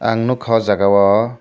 ang nogka o jaga o.